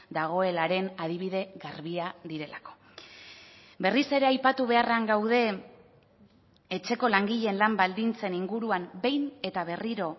dagoelaren adibide garbia direlako berriz ere aipatu beharrean gaude etxeko langileen lan baldintzen inguruan behin eta berriro